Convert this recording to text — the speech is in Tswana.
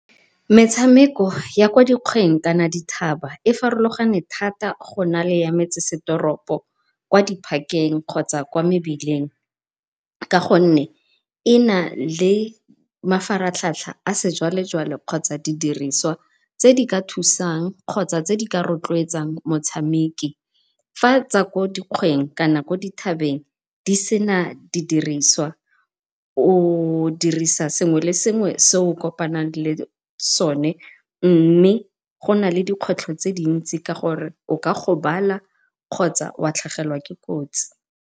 Metshameko ya kwa dikgweng kana dithaba e farologane go na le ya metsesetoropo, kwa di-park-eng kgotsa kwa mebileng ka gonne e na le mafaratlhatlha a sejwale-jwale kgotsa di diriswa tse di ka thusang kgotsa tse di ka rotloetsang motshameki. Fa tsa ko dikgweng kana dithabeng di sena di diriswa o dirisa sengwe le sengwe se o kopang le sone, mme go na le dikgwetlho tse dintsi ka gore o ka gobala kgotsa wa tlhagelwa ke kotsi.